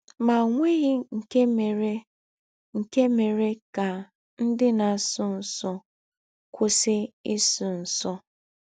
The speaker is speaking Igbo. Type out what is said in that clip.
Ma ọ nweghị nke mere nke mere ka ndị na - asụ nsụ kwụsị ịsụ nsụ.